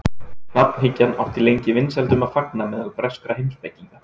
Nafnhyggjan átti lengi vinsældum að fagna meðal breskra heimspekinga.